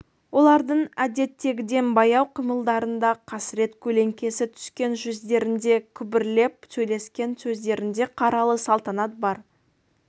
олардың әдеттегіден баяу қимылдарында қасірет көлеңкесі түскен жүздерінде күбірлеп сөйлескен сөздерінде қаралы салтанат бар